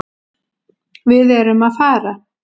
Við erum að fara.